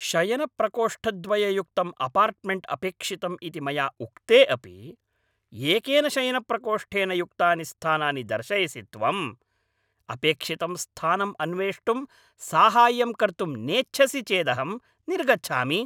शयनप्रकोष्ठद्वययुक्तम् apartment अपेक्षितम् इति मया उक्ते अपि एकेन शयनप्रकोष्ठेन युक्तानि स्थानानि दर्शयसि त्वम्? अपेक्षितं स्थानम् अन्वेष्टुं साहाय्यं कर्तुं नेच्छसि चेदहं निर्गच्छामि।